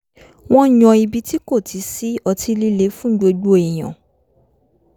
wọ́n yan ibi tí kò ti sí ọtí líle fún gbogbo èèyàn